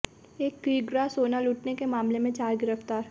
एक किग्रा सोना लूटने के मामले में चार गिरफ्तार